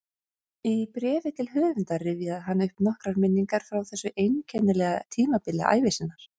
Í bréfi til höfundar rifjaði hann upp nokkrar minningar frá þessu einkennilega tímabili ævi sinnar